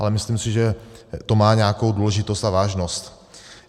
Ale myslím si, že to má nějakou důležitost a vážnost.